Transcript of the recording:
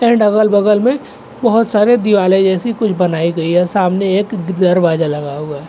तर डगल-बगल में बहुत सारे दीवाले जैसी कुछ बनाई गई है। और सामने एक द दरवाजा लगा हुआ है।